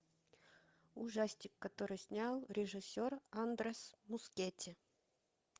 ужастик который снял режиссер андрес мускетти